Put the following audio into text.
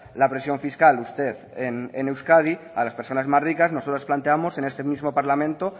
la presión fiscal usted es euskadi a las personas más ricas nosotros planteábamos en este mismo parlamento